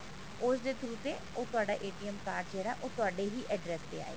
ਉਸਦੇ through ਤੇ ਉਹ ਤੁਹਾਡਾ card ਹੈ ਜਿਹੜਾ ਉਹ ਤੁਹਾਡੇ ਹੀ address ਤੇ ਆਏਗਾ